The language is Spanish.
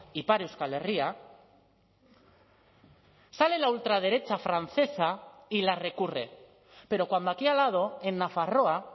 ipar euskal herria sale la ultraderecha francesa y la recurre pero cuando aquí al lado en nafarroa